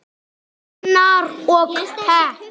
Unnar: Og pepp.